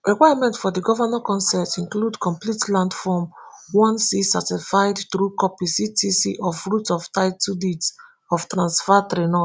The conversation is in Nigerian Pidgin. requirement for di govnor consent include complete land form onec certified true copy ctc of root of title deeds of transfer threenos